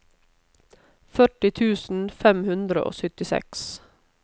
førti tusen fem hundre og syttiseks